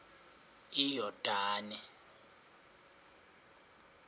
iyordane